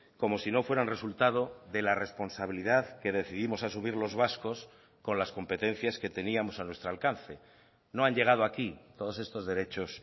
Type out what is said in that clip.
como si no fueran resultado de la responsabilidad que decidimos asumir los vascos con las competencias que teníamos a nuestro alcance no han llegado aquí todos estos derechos